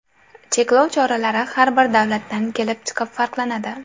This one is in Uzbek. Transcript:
Cheklov choralari har bir davlatdan kelib chiqib farqlanadi.